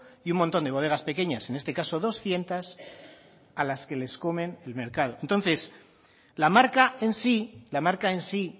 y un montón de bodegas pequeñas en este caso doscientos a las que les comen el mercado entonces la marca en sí la marca en sí